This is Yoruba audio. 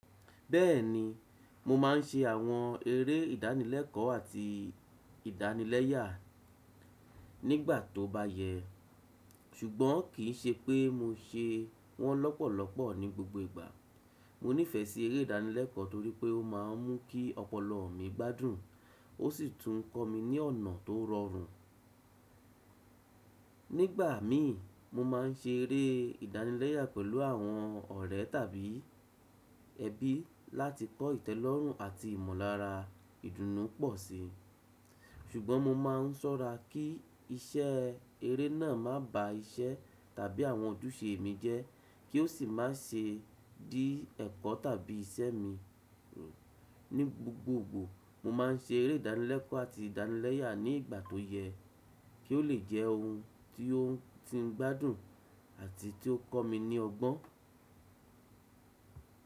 Bẹ́ẹ̀ni, mo máà ń ṣe àwọn eré ìdánilẹ́kọ̀ọ́ àti ìdánilẹ́yà nígbà tó bá yẹ, ṣùgbọ́n kì í ṣe pé mo ṣe wọ́n lọ́pọ̀lọpọ̀ ní gbogbo ìgbà. Mo nífẹ̀ẹ́ sí eré ìdánilẹ́kọ̀ọ́ torí pé ó máà ń mú kí ọpọlọ mi gbádùn ó sì tún kọ́ mi ní ọ̀nà tó rọrùn. Nígbà mí, mo máà ń ṣe eré ìdánilẹ́yà pẹ̀lú àwọn ọ̀rẹ́ tàbí ẹbí láti kọ ìtẹ́lọ́rùn àti ìmọ̀lára ìdùnnú pọ̀ sí. Ṣùgbọ́n mo máà ń ṣọ́ra kí iṣẹ́ eré náà má bá iṣẹ́ tàbí àwọn ojúṣe mi jẹ́, kí ó sì má ṣe dí ẹ̀kọ́ tàbí iṣẹ́ mi. Ní gbogbogbò, mo máà ń ṣe eré ìdánilẹ́kọ̀ọ́ àti ìdánilẹ́yà ní ìgbà tó yẹ kí ó le jẹ́ ohun tí ó ń tí ń gbádùn àti tí ó ń kọ́ mi ní ọgbọ́n.